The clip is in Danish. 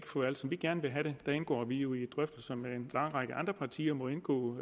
få alt som vi gerne vil have det vi indgår jo i drøftelser med en lang række andre partier og må indgå